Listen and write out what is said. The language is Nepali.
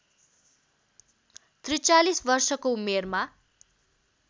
४३ वर्षको उमेरमा